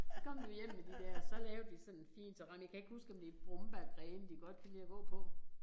Så kom vi jo hjem med de dér så lavede vi sådan et fint terrarium jeg kan ikke huske om det brombærgrene de godt kan lide at gå på